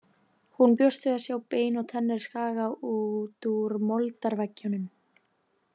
Hún bjóst við að sjá bein og tennur skaga út úr moldarveggjunum.